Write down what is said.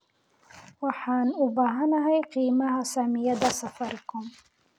waxaan u baahanahay qiimaha saamiyada safaricom